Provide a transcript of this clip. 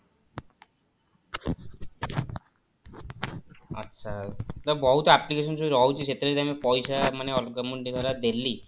ଆଛା ତ ବହୁତ application ସବୁ ରହୁଛି ସେଥିରେ ଯାଇକି ପଇସା ମାନେ ଅଲଗା ମୁଁ ଦେଲି